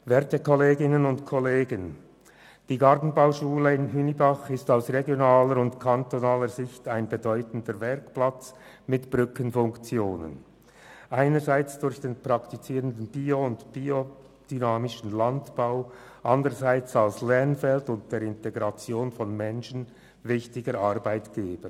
Werte Kolleginnen und Kollegen, die Gartenbauschule Hünibach ist aus regionaler und kantonaler Sicht ein bedeutender Werkplatz mit Brückenfunktion, einerseits durch den praktizierten biologischen und biodynamischen Landbau, andererseits als Lernfeld und wichtiger Arbeitgeber.